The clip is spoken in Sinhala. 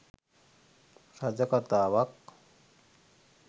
රජ කතාවක්